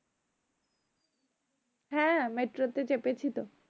হ্যাঁ metro তে চেপেছি তো